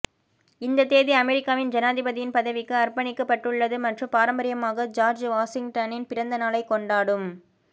இந்த தேதி அமெரிக்காவின் ஜனாதிபதியின் பதவிக்கு அர்ப்பணிக்கப்பட்டுள்ளது மற்றும் பாரம்பரியமாக ஜார்ஜ் வாஷிங்டனின் பிறந்த நாளைக் கொண்டாடும்